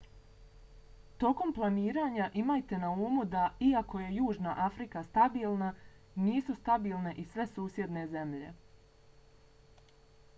tokom planiranja imajte na umu da iako je južna afrika stabilna nisu stabilne i sve susjedne zemlje